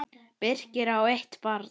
Birkir á eitt barn.